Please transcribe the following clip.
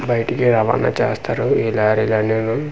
బయటికి రవాణా చేస్తారు ఈ లారీలు అన్నిను.